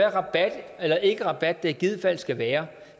er ikke rabat det i givet fald skal være